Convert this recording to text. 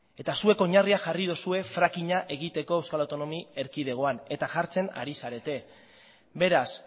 eta zuek oinarriak jarri dituzue frackinga egiteko euskal autonomia erkidegoan eta jartzen ari zarete beraz